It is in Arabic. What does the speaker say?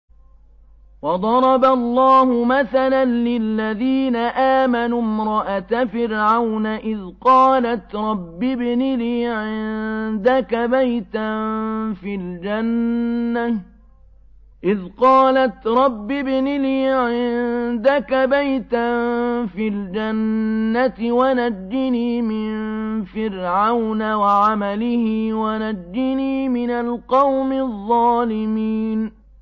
وَضَرَبَ اللَّهُ مَثَلًا لِّلَّذِينَ آمَنُوا امْرَأَتَ فِرْعَوْنَ إِذْ قَالَتْ رَبِّ ابْنِ لِي عِندَكَ بَيْتًا فِي الْجَنَّةِ وَنَجِّنِي مِن فِرْعَوْنَ وَعَمَلِهِ وَنَجِّنِي مِنَ الْقَوْمِ الظَّالِمِينَ